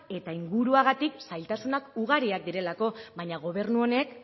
eta inguruagatik zailtasunak ugariak direlako baina gobernu honek